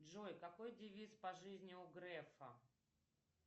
джой какой девиз по жизни у грефа